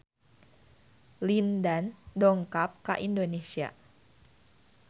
Lin Dan dongkap ka Indonesia